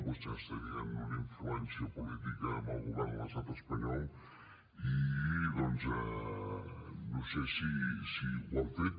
vostès tenien una influència política en el govern de l’estat espanyol i doncs no sé si ho han fet